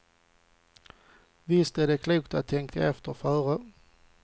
Visst är det klokt att tänka efter före.